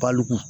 Baliku